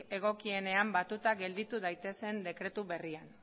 egokienean batuta gelditu daitezen dekretu berrian